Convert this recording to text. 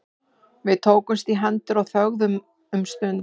Við tókumst í hendur og þögðum um stund.